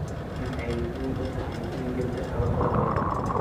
Maxay muhiim u tahay in gabdhaha wax la baro?